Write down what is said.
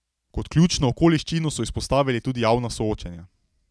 Kot ključno okoliščino so izpostavili tudi javna soočenja.